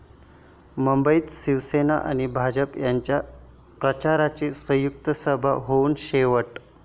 मुंबईत शिवसेना आणि भाजपा यांच्या प्रचाराची संयुक्त सभा होऊन शेवटी